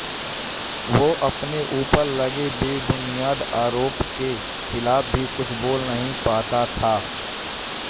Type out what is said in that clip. वो अपने ऊपर लगे बेबुनियाद आरोपों के खिलाफ भी कुछ बोल नहीं पाता था